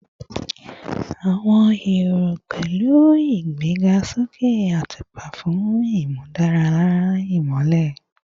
Awọn ero pẹlu igbegasoke atupa fun imudara imọlẹ